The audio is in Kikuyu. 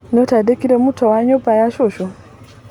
Nĩũtandĩkire muto wa nyũmba ya cucu?